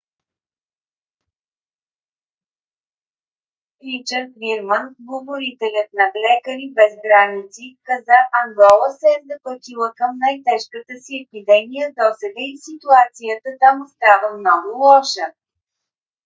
ричард вирман говорителят на лекари без граници каза: ангола се е запътила към най - тежката си епидемия досега и ситуацията там остава много лоша